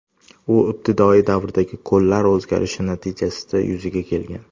U ibtidoiy davrdagi ko‘llar o‘zgarishi natijasida yuzaga kelgan.